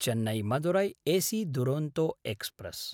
Chennai-Madurai AC Duronto express